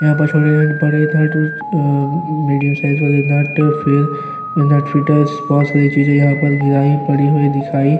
यहां पर छोटे नेट बड़े नेट और अ-अ मीडियम साइज वाले नेट फिर नेट फिटर्स बहोत सारी चीजे यहाँ पर गिरायी पड़ी हुई दिखाई --